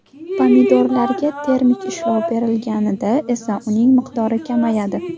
Pomidorlarga termik ishlov berilganida esa uning miqdori kamayadi.